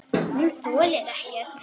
Hún þolir ekkert.